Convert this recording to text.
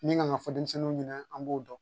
Min kan ka fɔ denmisɛnninw ɲɛna an b'o dɔn